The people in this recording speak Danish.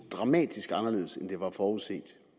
dramatisk anderledes end det var forudset